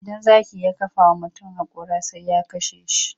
Idan zaki ya kafa wa mutum haƙora sai ya kashe shi.